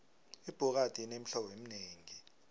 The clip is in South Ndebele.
ibhokadi inemihlobo eminengi